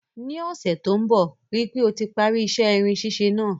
Ní ọ́sẹ̀ to n bo, rípe o ti parí isẹ́ irin sísẹ náà